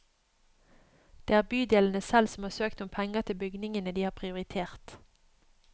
Det er bydelene selv som har søkt om penger til bygningene de har prioritert.